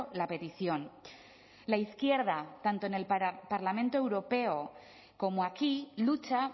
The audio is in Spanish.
la petición la izquierda tanto en el parlamento europeo como aquí lucha